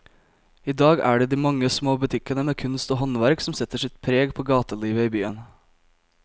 I dag er det de mange små butikkene med kunst og håndverk som setter sitt preg på gatelivet i byen.